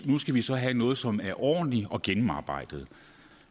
nu skal vi så have noget som er ordentligt og gennemarbejdet